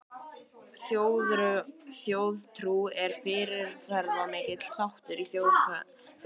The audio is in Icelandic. Þjóðtrú er fyrirferðamikill þáttur í þjóðfræði.